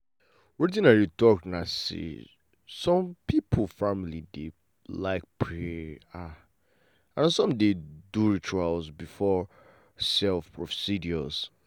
wetin i dey talk na say some people family dey like pray ah and some dey do ritual before um procedures.